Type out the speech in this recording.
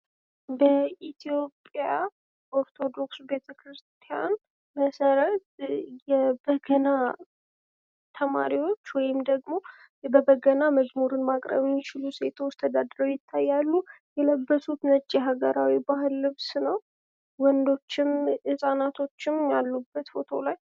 በኢትዮጵያ ኦርቶዶክስ ቤተክርስቲያን መሰረት የበገና ተማሪዎች ወይም ደግሞ በበገና መዝሙርን ማቅረብ የሚችሉ ሴቶች ተደርድረዉ ይገኛሉ። የለበሱት ነጭ የሀገር ልብስ ነዉ። ወንዶችም ህፃናትም አሉበት::